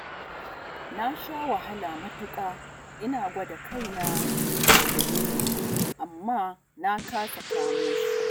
Na sha wahala matuƙa ina gwada kaina da Jamilu amma na kasa kamo shi